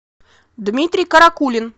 дмитрий каракулин